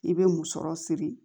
I bɛ musɔrɔ siri